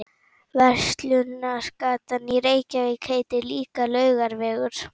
Verslunargatan í Reykjavík heitir líka Laugavegur.